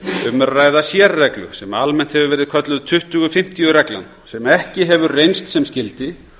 um er að ræða sérreglu sem almennt hefur verið kölluð tuttugu fimmtíu reglan sem ekki hefur reynst sem skyldi